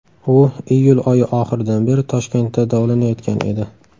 U iyul oyi oxiridan beri Toshkentda davolanayotgan edi.